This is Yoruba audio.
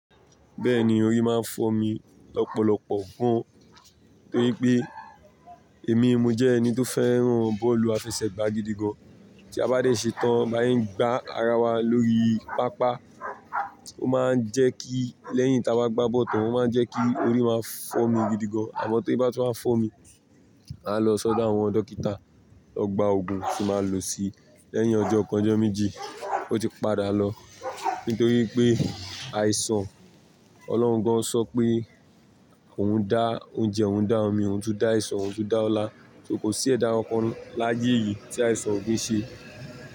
Bẹ́ẹ̀ni, orí máa ń fọ́ mi lọ́pọ̀lọpọ̀ gan, torí pé èmi mo jẹ́ ẹni tó fẹ́ràn bọ́ọ̀lù àfẹsẹ̀gbá gidi gan. Tí a bá dé ṣe tán bá yín gba ara wa lórí pápá, ó máa ń jẹ́ kí lẹ́yìn tí a bá gbá bọ̀tán, ó máa ń jẹ́ kí orí máa ń fọ́ mi gidi gan. Àma tó bá ti wá fọ́ mi, màá lọ sọ́dọ̀ àwọn dókítà, lọ gba òògùn tí màá lò si. Lẹ́yìn ọjọ́ kan, ọjọ́ méje ó ti padà lọ. Nítorí pé àìsàn Ọlọ́run gan sọ pé òun dá oúnjẹ, òun dá omi, òun tún dá àìsàn, òun tún dá Ọlá. So kò sí ẹ̀dá ọpọlọ láyé yìí tí àìsàn ò kí ń ṣe.